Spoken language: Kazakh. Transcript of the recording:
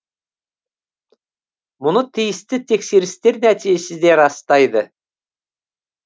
мұны тиісті тексерістер нәтижесі де растайды